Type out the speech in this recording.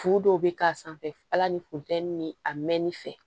Furu dɔw bɛ k'a sanfɛ ala ni funtɛni a mɛnni fɛ